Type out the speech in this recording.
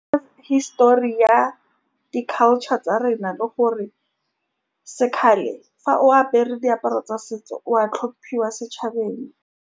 Hisitori ya di-culture tsa rena le gore se . Fa o apere diaparo tsa setso o a hlomphuoa setšhabeng.